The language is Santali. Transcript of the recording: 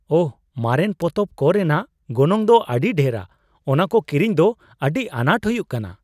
ᱟᱦ! ᱢᱟᱨᱮᱱ ᱯᱚᱛᱚᱵ ᱠᱚ ᱨᱮᱱᱟᱜ ᱜᱚᱱᱚᱝ ᱫᱚ ᱟᱹᱰᱤ ᱰᱷᱮᱨᱟ ᱾ ᱚᱱᱟ ᱠᱚ ᱠᱤᱨᱤᱧ ᱫᱚ ᱟᱹᱰᱤ ᱟᱱᱟᱴ ᱦᱩᱭᱩᱜ ᱠᱟᱱᱟ ᱾